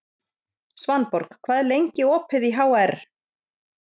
Svanborg, hvað er lengi opið í HR?